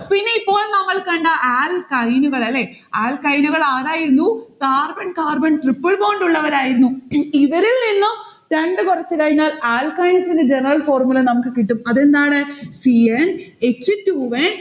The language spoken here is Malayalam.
പിന്നെ ഇപ്പോൾ നമ്മൾ കണ്ട alkyne കളല്ലേ? alkyne കൾ ആരായിരുന്നു? carbon carbon triple bond ഉള്ളവരായിരുന്നു. ഇവരിൽനിന്നും രണ്ട് കുറച്ചുകഴിഞ്ഞാൽ alkynes ഇന്റെ general formula നമ്മക്ക് കിട്ടും. അതെന്താണ്? c n h two n